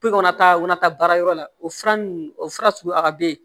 Pikɔnɔn ta kɔnɔ taa baarayɔrɔ la o fura ninnu o fura sugu a bɛ ye